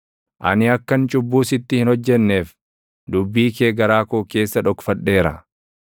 Ani akkan cubbuu sitti hin hojjenneef, dubbii kee garaa koo keessa dhokfadheera.